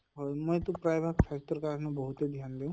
হয় মই টো প্ৰায় ভাগ স্বাস্থ্য়ৰ কাৰণে বহুতে ধ্য়ান দিওঁ